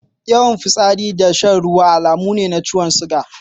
Yawan fitsari da shan ruwa alamu ne na ciwon suga.